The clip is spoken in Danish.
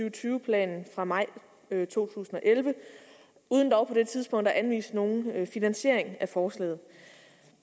og tyve planen fra maj to tusind og elleve uden dog på det tidspunkt at anvise nogen finansiering af forslaget